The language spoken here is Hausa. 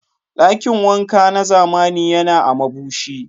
Dakin wanka na zamani yana a Mabushi.